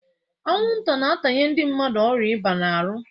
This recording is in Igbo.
Anwụnta na-atanye ndị mmadụ ọrịa ịba n'ahụ.